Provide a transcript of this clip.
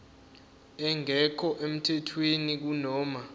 engekho emthethweni kunoma